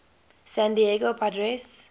san diego padres